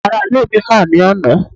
àwọn ará ilé mi ha ni àná